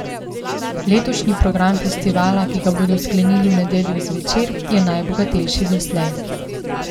Letošnji program festivala, ki ga bodo sklenili v nedeljo zvečer, je najbogatejši doslej.